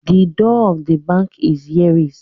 The door of the bank is heacy